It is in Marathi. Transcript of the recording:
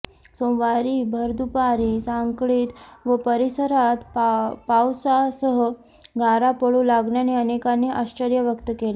सोमवारी भरदुपारी सांखळीत व परिसरात पावसासह गारा पडू लागल्याने अनेकांनी आश्चर्य व्यक्त केले